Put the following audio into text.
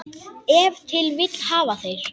Ef til vill hafa þeir.